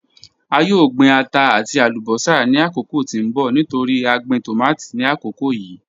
A yoo gbin ata ati alubosa ni akoko ti n bọ nitori a gbin tomati ni akoko yii